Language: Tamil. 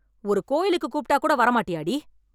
ஒரு கோயிலுக்கு கூப்பிட்டா கூட வரமாட்டியாடி?